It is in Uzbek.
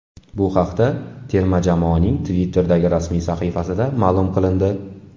Bu haqda terma jamoaning Twitter’dagi rasmiy sahifasida ma’lum qilindi.